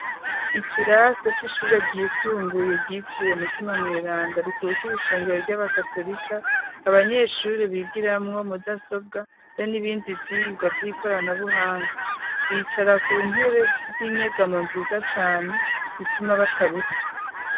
Ikirase c'ishure ryisumbuye ryitiriwe umutima mwelanda rikuriye ishengero ry'abakatolika abanyeshuri bigiramwo mudasobwa be n'ibindi vyigwa vy'ikoranabuhanga bicara ku ntebe z'inyegamo nziza cane zituma bataruha.